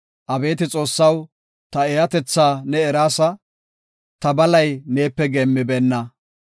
Abeeti Xoossaw, ta eeyatetha ne eraasa; ta balay neepe geemmibeenna.